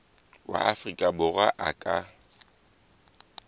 wa afrika borwa a ka